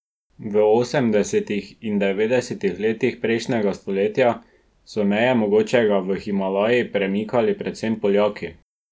V osemdesetih in devetdesetih letih prejšnjega stoletja so meje mogočega v Himalaji premikali predvsem Poljaki.